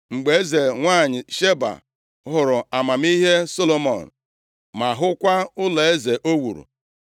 Mgbe eze nwanyị Sheba hụrụ amamihe Solomọn, ma hụkwa ụlọeze o wuru,